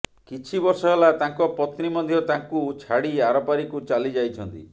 କିଛି ବର୍ଷ ହେଲା ତାଙ୍କ ପତ୍ନୀ ମଧ୍ୟ ତାଙ୍କୁ ଛାଡ଼ି ଆରପାରିକୁ ଚାଲି ଯାଇଛନ୍ତି